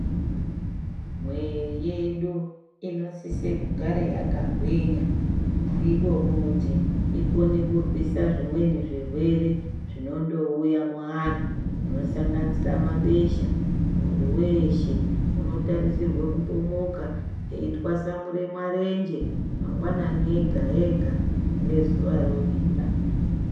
Mwiri yedu imosise kugare yakagwinya. Ndiko kuti ikone kurwisa zvimweni zvirwere zvinondouya muanhu zvinosanganisira mabesha. Muntu weshe unotarisirwe kumbomuke eyitwasamure marenje mangwanani ega ega ngezuva rovira.